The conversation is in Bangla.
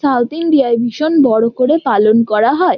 সাউথইন্ডিয়ায় ভীষণ বড়ো করে পালন করা হয়।